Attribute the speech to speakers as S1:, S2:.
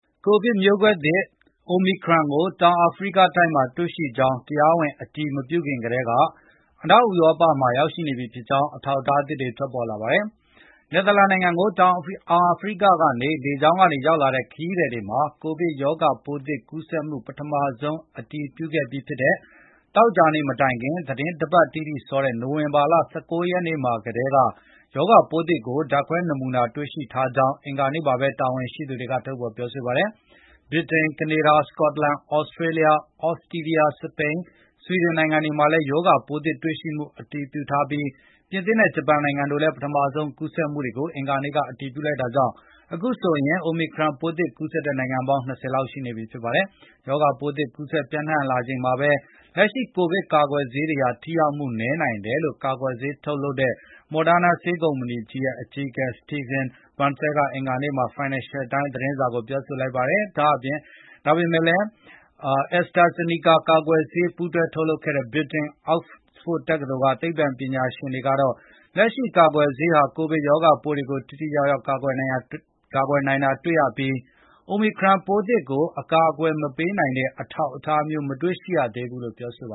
S1: ကိုဗစ်မျိုးကွဲသစ် Omicron ကို တောင်အာဖရိကမှာ တွေ့ရှိကြောင်း တရားဝင် အတည်မပြုခင်ကတည်းက အနောက်ဥရောပမှာ ရောက်ရှိနေပြီဖြစ်ကြောင်း အထောက်အထားသစ်တွေ ထွက်ပေါ်လာပါတယ်။ နယ်သာလန်နိုင်ငံကို တောင်အာဖရိကကနေ လေကြောင်းက ရောက်လာတဲ့ ခရီးသည်တွေမှာ ရောဂါပိုးသစ် ကူးစက်မှု ပထမဆုံး အတည်ပြုခဲ့တဲ့ ပြီးခဲ့တဲ့ သောကြာနေ့ မတိုင်ခင် သီတင်းတပတ်တိတိစောတဲ့ နိုဝင်ဘာလ ၁၉ ရက်နေ့မှာ ကတည်းက ရောဂါပိုးသစ်ကို ဓာတ်ခွဲနမူနာတွေမှာ တွေ့ရှိထားကြောင်း အင်္ဂါနေ့မှာပဲ တာဝန်ရှိသူတွေ ပြောဆိုခဲ့ကြတာပါ။ ဗြိတိန်၊ ကနေဒါ၊ စကော့တလန်၊ သြစတြေးလျ၊ သြစတြီးယား၊ စပိန်၊ ဆွီဒင်နိုင်ငံတွေမှာလည်း ရောဂါပိုးသစ် တွေ့ရှိမှု အတည်ပြုထားပြီး ပြင်သစ်နဲ့ ဂျပန်နိုင်ငံတို့ကလည်း ပထမဆုံး ကူးစက်မှုတွေကို အင်္ဂါနေ့က အတည်ပြုလိုက်တာကြောင့် အခုဆိုရင် Omicron ပိုးသစ်ကူးစက်တဲ့ နိုင်ငံပေါင်း ၂၀ လောက် ရှိနေပါပြီ။ ရောဂါပိုးသစ် ကူးစက်မှုတွေ ပျံ့နှံ့လာနေချိန်မှာပဲ လက်ရှိကိုဗစ်ကာကွယ်ဆေးတွေဟာ ထိရောက်မှု နည်းနိုင်တယ်လို့လည်း ကာကွယ်ဆေးထုတ်လုပ်တဲ့ Moderna ဆေးကုမ္ပဏီရဲ့ အကြီးအကဲ Stephane Bancel က အင်္ဂါနေ့မှာပဲ Financial Times သတင်းစာကို ပြောလိုက်ပါတယ်။ AstraZeneca ကာကွယ်ဆေး ပူးတွဲ ထုတ်လုပ်တဲ့ ဗြိတိန် Oxford တက္ကသိုလ်က သိပ္ပံပညာရှင်တွေကတော့ လက်ရှိကာကွယ်ဆေးတွေဟာ ကိုဗစ်ရောဂါပိုးတွေကို ထိထိရောက်ရောက် ကာကွယ်နိုင်တာ တွေ့ရပြီး Omicron ပိုးသစ်ကို အကာအကွယ် မပေးနိုင်တဲ့ အထောက်အထားမျိုး မတွေ့ရသေးဘူးလို့ ပြောပ